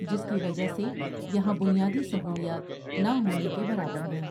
جس کی وجہ سے یہاں بنیادی سہولیات نہ ہونے کے برابر ہیں ۔